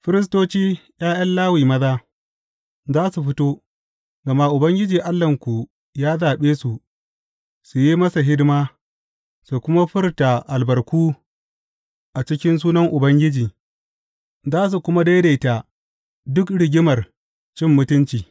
Firistoci, ’ya’yan Lawi maza, za su fito, gama Ubangiji Allahnku ya zaɓe su su yi masa hidima, su kuma furta albarku a cikin sunan Ubangiji, za su kuma daidaita duk rigimar cin mutunci.